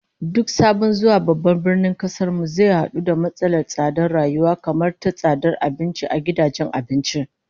Duk sabon zuwa babban birnin kasar mu zai hadu da matsalar tsadar rayuwa, kamar ta tsadar abinci a gidajen abinci